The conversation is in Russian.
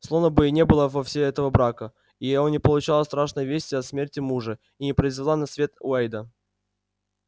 словно бы и не было вовсе этого брака и она не получала страшной вести о смерти мужа и не произвела на свет уэйда